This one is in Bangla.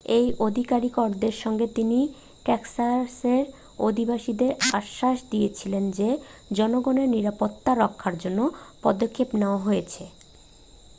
এই আধিকারিকদের সঙ্গে তিনি টেক্সাসের অধিবাসীদের আশ্বাস দিয়েছিলেন যে জনগণের নিরাপত্তা রক্ষার জন্য পদক্ষেপ নেওয়া হয়েছে